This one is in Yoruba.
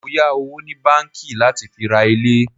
Mọ yà owó ni báńkì láti fi ra ilé.